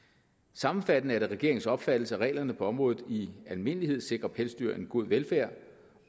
sammenfattende er det regeringens opfattelse at reglerne på området i almindelighed sikrer pelsdyr en god velfærd